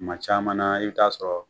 Kuma caman na i bi taa sɔrɔ